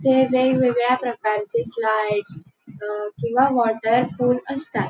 हे वेगवेगळ्या प्रकारचे स्लाईड्स अह किंवा वॉटर पूल असतात.